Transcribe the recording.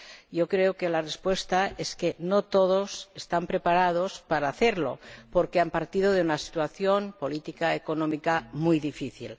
Yo creo que la respuesta es que no todos están preparados para hacerlo, porque han partido de una situación política y económica muy difícil.